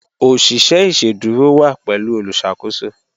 Oṣiṣẹ iṣẹdúrò wa pẹ̀lú olùṣakòsò